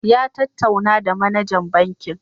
Ya ttatauna da manajan bankin